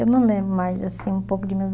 Eu não lembro mais, assim, um pouco de meus